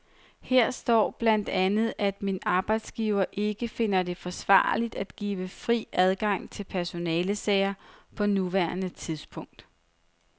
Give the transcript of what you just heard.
Her står blandt andet, at min arbejdsgiver ikke finder det forsvarligt at give fri adgang til personalesager på nuværende tidspunkt.